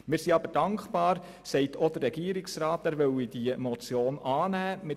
Wir sind aber dankbar, dass auch der Regierungsrat sagt, er wolle diese Motion annehmen.